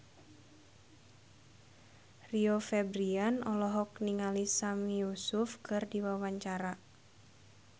Rio Febrian olohok ningali Sami Yusuf keur diwawancara